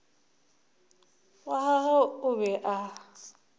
wa gagwe o be a